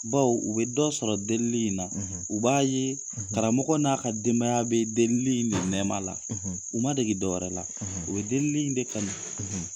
Baw u bɛ dɔ sɔrɔ delili in na , u b'a ye karamɔgɔ n'a ka denbaya bɛ delili in de nɛma la, u ma deli dɔw wɛrɛ la, u bɛ delili in de kanu.